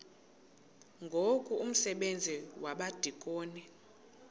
ngoku umsebenzi wabadikoni